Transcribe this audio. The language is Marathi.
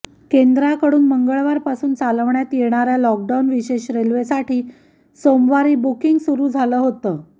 केंद्राकडून मंगळवारपासून चालवण्यात येणाऱ्या लॉकडाऊन विशेष रेल्वेसाठी सोमवारी बुकींग सुरू झालं होतं